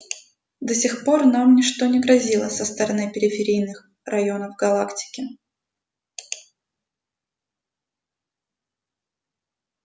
до сих пор нам ничто не грозило со стороны периферийных районов галактики